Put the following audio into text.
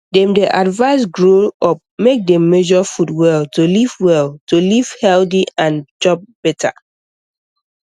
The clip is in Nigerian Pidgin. dem dey advise grow up make dem measure food well to live well to live healthy and chop better